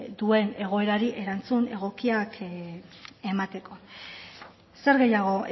duen egoerari erantzun egokiak emateko zer gehiago